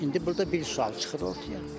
İndi burda bir sual çıxır ortaya.